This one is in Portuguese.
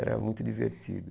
Era muito divertido.